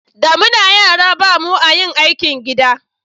da muke yara ba mu a yin aikin gida